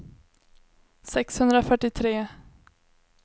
sexhundrafyrtiotre